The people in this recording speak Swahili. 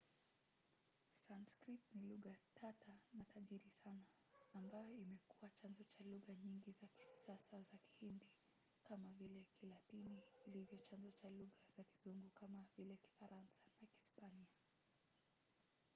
sanskrit ni lugha tata na tajiri sana ambayo imekuwa chanzo cha lugha nyingi za kisasa za kihindi kama vile kilatini ilivyo chanzo cha lugha za kizungu kama vile kifaransa na kispanya